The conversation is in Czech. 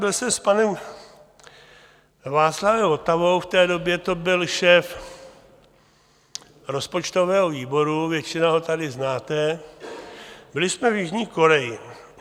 Byl jsem s panem Václavem Votavou, v té době to byl šéf rozpočtového výboru, většina ho tady znáte, byli jsme v Jižní Koreji.